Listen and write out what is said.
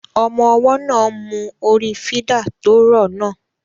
Ọmọ ọwọ́ náà ń mú orí fídà tó rọ̀ náà